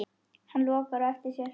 Hann lokar á eftir sér.